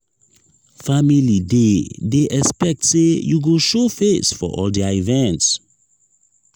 family dey dey expect say you go show face for all their events.